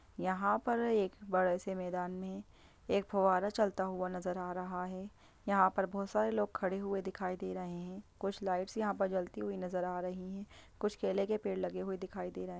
यहाँ पर एक बड़े से मैदान में एक फुवारा चलता हुआ नज़र आ रहा हैं यहाँ पर बहोत सारे लोग खड़े हुए दिखाई दे रहे हैं कुछ लाइट्स यहाँ पर जलती हुई नज़र आ रही है कुछ केले के पेड़ लगे हुए दिखाई दे रहे हैं।